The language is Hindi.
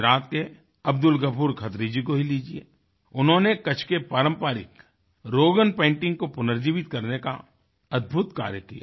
गुजरात के अब्दुल गफूर खत्री जी को ही लीजिएउन्होंने कच्छ के पारंपरिक रोगन पेंटिंग को पुनर्जीवित करने का अद्भुत कार्य किया